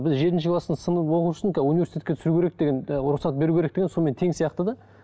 біз жетінші кластың сынып оқушысын университетке түсіру керек деген і рұқсат беру керек деген сонымен тең сияқты да